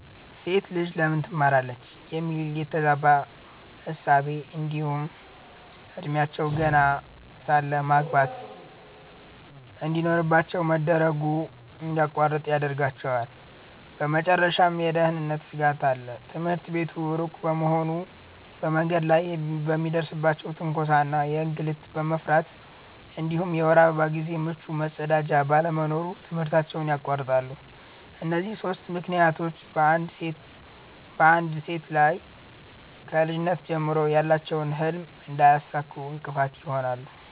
"ሴት ልጅ ለምን ትማራለች?" የሚል የተዛባ እሳቤ እንዲሁም እድሜያቸው ገና ሳለ ማግባት እንድኖርባቸው መደረጉ እንድያቋርጡ ይዳርጋቸዋል። በመጨረሻም የደህንነት ስጋት አለ፤ ትምህርት ቤቱ ሩቅ በመሆኑ በመንገድ ላይ የሚደርስባቸውን ትንኮሳ እና እንግልት በመፍራት እንዲሁም የወር አበባ ጊዜ ምቹ መጸዳጃ ባለመኖሩ ትምህርታቸውን ያቋርጣሉ። እነዚህ ሦስቱ ምክንያቶች በአንድ ላይ ሴቶች ከልጅነት ጀምሮ ያላቸውን ህልም እንዳያሳኩ እንቅፋት ይሆናሉ።